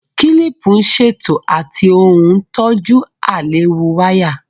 Kílìpù ń ṣètò àti ó ń tọ́jú àìlewu wáyà